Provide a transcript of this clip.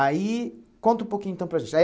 Aí, conta um pouquinho então para a gente.